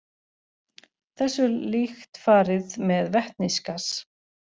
Þessu er líkt farið með vetnisgas.